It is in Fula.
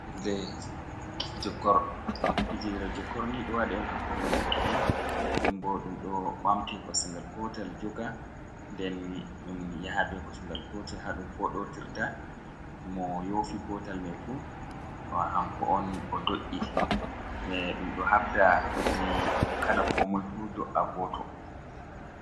Fijirle jokor, fijirle jokorni ɗo waɗe'on hakkude Dereke'en. Nden bo ɗum ɗi ɓaamte Kosa ngal Gotal joga, nden ɗum yaha be kosu ngal Gotal ha ɗum foɗotirta mo yofi Gotal mai fu hanko'on odo’i .Ɗum ɗo habda dedai Kala ko moifu do'a Goto.